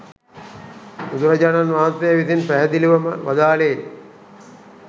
බුදුරජාණන් වහන්සේ විසින් පැහැදිලිව ම වදාළේ